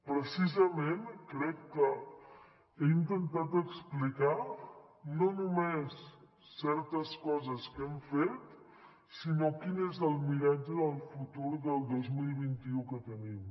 precisament crec que he intentat explicar no només certes coses que hem fet sinó quin és el miratge del futur del dos mil vint u que tenim